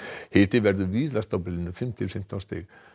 hiti verður víðast á bilinu fimm til fimmtán stig